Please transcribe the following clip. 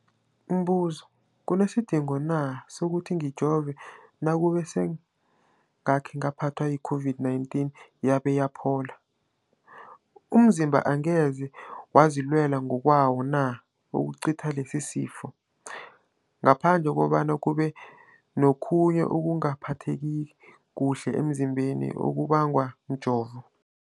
Umbuzo, kunesidingo na sokuthi ngijove nakube sengakhe ngaphathwa yi-COVID-19 yabe yaphola? Umzimbami angeze wazilwela ngokwawo na ukucitha lesisifo, ngaphandle kobana kube nokhunye ukungaphatheki kuhle emzimbeni okubangwa mjovo?